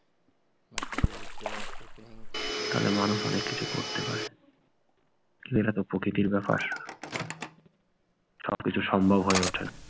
তাহলে মানুষ অনেক কিছু করতে পারে। এটা তো প্রকৃতির ব্যাপার সবকিছু সম্ভব হয়ে ওঠে